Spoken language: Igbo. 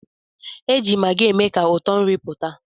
Eji maggi eme ka ụtọ nri pụta.